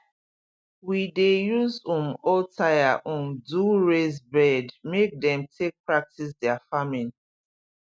we dey use um old tyre um do raised bed make dem take practise their farming